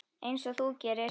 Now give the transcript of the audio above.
Einsog þú gerir?